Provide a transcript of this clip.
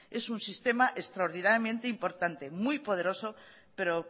es un sistema extraordinariamente importante muy poderoso pero